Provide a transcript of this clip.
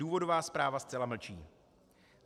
Důvodová zpráva zcela mlčí.